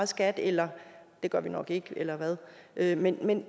skat eller det gør vi nok ikke eller hvad eller hvad men